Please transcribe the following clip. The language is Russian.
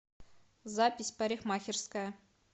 запись парикмахерская